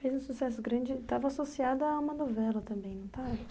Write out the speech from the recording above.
Fez um sucesso grande, estava associada a uma novela também, não estava?